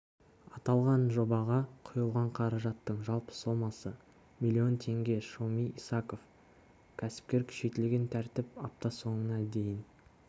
аталған жобаға құйылған қаражаттың жалпы сомасы миллион теңге шоми исаков кәсіпкер күшейтілген тәртіп апта соңына дейін